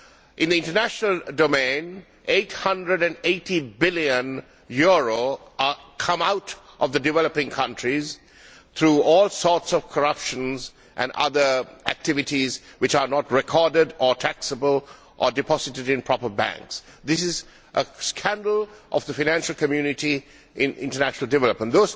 In the international domain, EUR 880 billion come out of the developing countries through all sorts of corruption and other activities which are not recorded or taxable or deposited in proper banks. This is a scandal of the financial community in international development.